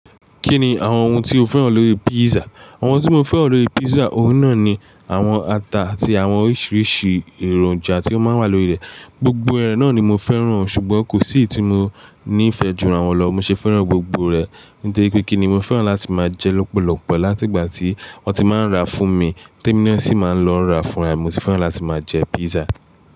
Kí ni àwọn ohun tí o fẹ́ràn lórí pizza? Àwọn ohun tí mo fẹ́ràn lórí pizza, ohun náà ni àwọn ata àti àwọn oríṣiríṣi èròjà tí o máa ń wà lórí rẹ̀. Gbogbo rẹ̀ náà ni mo fẹ́ràn, ṣùgbọ́n kò sí tí mo ní ìfẹ́ jù rà wù lọ, mo sì fẹ́ràn gbogbo rẹ̀. Nítorí pé kí ni mo fẹ́ràn láti máa jẹ lọ́pọ̀lọpọ̀ láti ìgbà tí wọ́n ti máa ń rà á fún mi, Témí na sì máa ń lọ rà á fún mi, mo sì fẹ́ràn láti máa jẹ pizza.